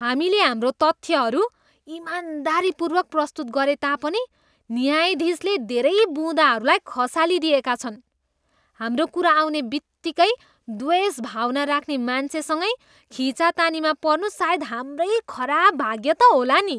हामीले हाम्रा तथ्यहरू इमानदारीपूर्वक प्रस्तुत गरे तापनि न्यायाधीशले धेरै बुँदाहरूलाई खसालिदिएका छन्। हाम्रो कुरा आउने बित्तिकै द्वेष भावना राख्ने मान्छेसँगै खिचातानीमा पर्नु सायद हाम्रै खराब भाग्य त होला नि।